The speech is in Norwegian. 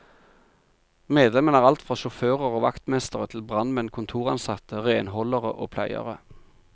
Medlemmene er alt fra sjåfører og vaktmestere til brannmenn, kontoransatte, renholdere og pleiere.